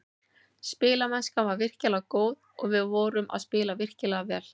Spilamennskan var virkilega góð og við vorum að spila virkilega vel.